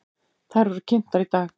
Þær voru kynntar í dag.